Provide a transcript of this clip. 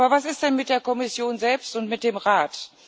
Aber was ist denn mit der Kommission selbst und mit dem Rat?